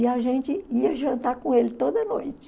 E a gente ia jantar com ele toda noite.